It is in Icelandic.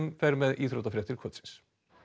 er með íþróttafréttir kvöldsins